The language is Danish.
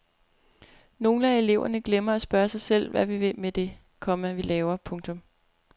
Nogle af eleverne glemmer at spørge sig selv hvad vi vil med det, komma vi laver. punktum